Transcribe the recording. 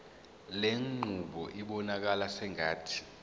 lenqubo ibonakala sengathi